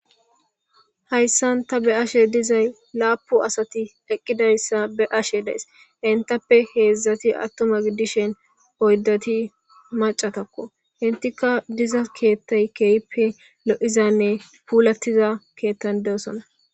Haysan ta beyashe dizay lapun asati eqidaysa beyashe days. Entappe hezhati attuma gidishin oydati macatako. Eetika de'iza keetha kehippe lo'izanne puulatiza keetha gidon de'osona.